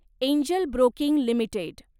angel Broking limited